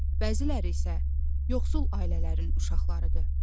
Bəziləri isə yoxsul ailələrin uşaqlarıdır.